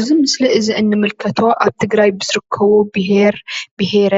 እዚ ምስሊ እዚ እንምልከቶ ኣብ ትግራይ ብዝርከቡ ብሄር ብሄረ